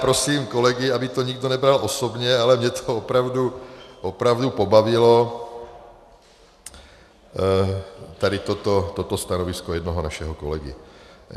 Prosím kolegy, aby to nikdo nebral osobně, a mě to opravdu pobavilo, tady toto stanovisko jednoho našeho kolegy.